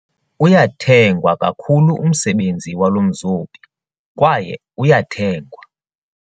Uyathengwa kakhulu umsebenzi walo mzobi kwaye uyathengwa.